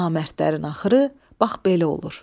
Namərdlərin axırı, bax belə olur.